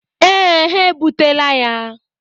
Ee, ha ebutela ya.